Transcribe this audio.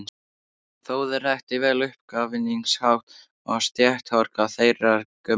Þórður þekkti vel uppskafningshátt og stéttahroka þeirrar gömlu